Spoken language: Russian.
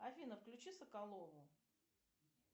афина включи соколову